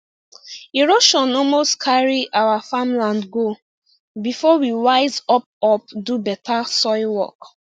erosion almost carry our farmland go before we wise up up do better soil work